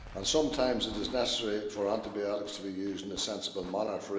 Sometimes it is necessary for antibiotics to be used, in a sensible manner.